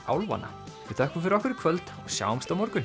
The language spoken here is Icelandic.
álfanna við þökkum fyrir okkur í kvöld og sjáumst á morgun